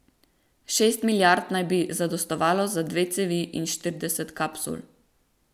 Šest milijard naj bi zadostovalo za dve cevi in štirideset kapsul.